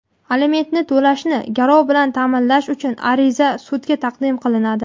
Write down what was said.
Alimentni to‘lashni garov bilan ta’minlash uchun ariza sudga taqdim qilinadi.